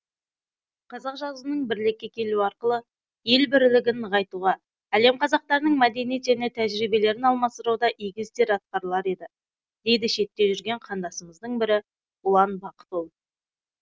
қазақ жазуының бірлікке келуі арқылы ел бірлігін нығайтуға әлем қазақтарының мәдениет және тәжірибелерін алмастыруда игі істер атқарылар еді дейді шетте жүрген қандасымыздың бірі ұлан бақытұлы